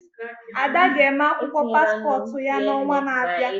Ada ga eme akwụkwọ paspọt ya n'ọnwa n'abịa